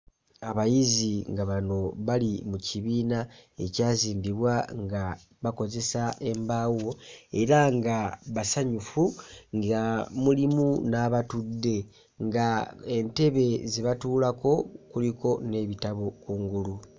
Abayizi nga bano bali mu kibiina ekyazimbibwa nga bakozesa embaawo era nga basanyufu nga mulimu n'abatudde ng'entebe ze batuulako kuliko n'ebitabo kungulu.